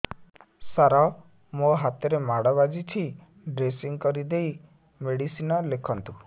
ସାର ମୋ ହାତରେ ମାଡ଼ ବାଜିଛି ଡ୍ରେସିଂ କରିଦେଇ ମେଡିସିନ ଲେଖନ୍ତୁ